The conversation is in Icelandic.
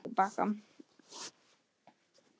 Meðferðarheimili fyrir unglinga opnað á Lækjarbakka